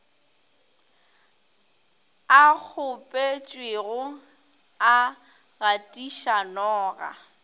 a kgopetšwe a gatiša noga